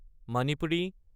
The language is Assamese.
মণিপুৰী